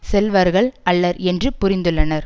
செல்வர்கள் அல்லர் என்று புரிந்துள்ளனர்